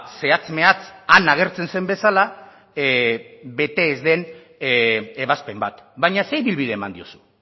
zehatz mehatz han agertzen zen bezala bete ez den ebazpen bat baina ze ibilbide eman diozu